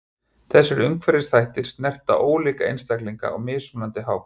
Þessir umhverfisþættir snerta ólíka einstaklinga á mismunandi hátt.